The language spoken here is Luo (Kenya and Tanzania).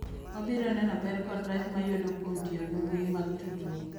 Wabiro neno ber kod rach ma yudo kuom tiyo gi mbui mag tudruok.